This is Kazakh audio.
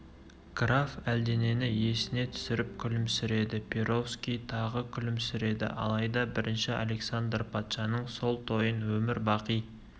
граф әлденені есіне түсіріп күлімсіреді перовский тағы күлімсіреді алайда бірінші александр патшаның сол тойын өмір бақи